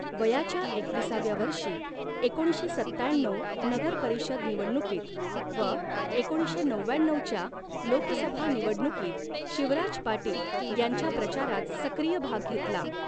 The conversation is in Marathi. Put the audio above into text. वयाच्या एकविसाव्या वर्षी एकोणीसशे सत्त्याण्णऊ नगर परिषद निवडणुकीत व एकोणीसशे नवव्याण्णऊच्या लोकसभा निवडणुकीत शिवराज पाटील यांच्या प्रचारात सक्रिय भाग घेतला.